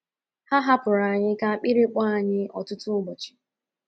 Ha hapụrụ anyị ka akpịrị kpọọ anyị ọtụtụ ụbọchị. ”